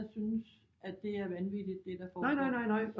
Der synes at det er vanvittigt det der foregår